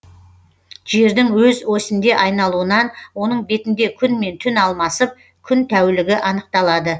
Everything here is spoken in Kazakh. жердің өз осінде айналуынан оның бетінде күн мен түн алмасып күн тәулігі анықталады